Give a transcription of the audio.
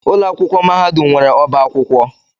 Ụlọ akwụkwọ mahadum nwere ọba akwụkwọ.